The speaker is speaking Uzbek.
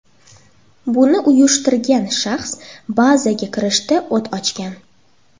Buni uyushtirgan shaxs bazaga kirishda o‘t ochgan.